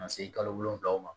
Ka se kalo wolonwula ma